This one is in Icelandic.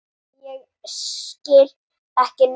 Og ég skil ekki neitt.